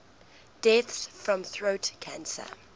deaths from throat cancer